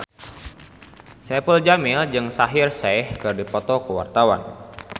Saipul Jamil jeung Shaheer Sheikh keur dipoto ku wartawan